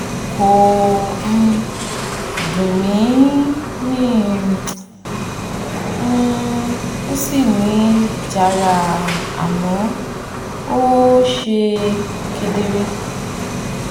kò um dùn mí mi um ò um ò sì ní ìjara àmọ́ um ó ṣe kedere